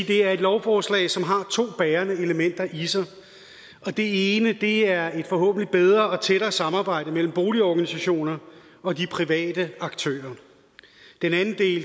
det er et lovforslag som har to bærende elementer i sig og det ene er et forhåbentlig bedre og tættere samarbejde mellem boligorganisationer og de private aktører